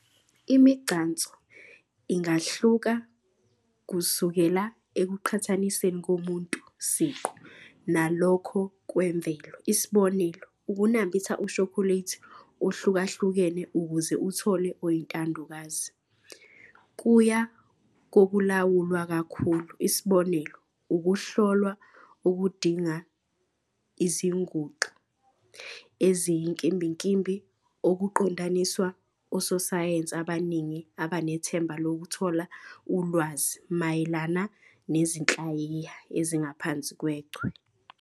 Imigcanso ingahluka kusukela ekuqhathaniseni komuntu siqu nalokho kwemvelo, isb. ukunambitha ushokoledi ohlukahlukene ukuze uthole oyintandokazi, kuya kokulawulwa kakhulu, isb. ukuhlolwa okudinga izinguxa eziyinkimbinkimbi okuqondiswa ososayensi abaningi abanethemba lokuthola ulwazi mayelana nezinhlayiya ezingaphansi kwechwe.